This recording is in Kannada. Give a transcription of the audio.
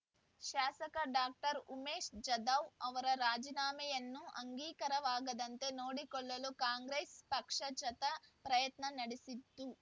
ಶಾಸಕ ಡಾಕ್ಟರ್ ಉಮೇಶ್ ಜಾಧವ್ ಅವರ ರಾಜೀನಾಮೆಯನ್ನು ಅಂಗೀಕಾರವಾಗದಂತೆ ನೋಡಿಕೊಳ್ಳಲು ಕಾಂಗ್ರೆಸ್ ಪಕ್ಷ ಚತ ಪ್ರಯತ್ನ ನಡೆಸಿತ್ತು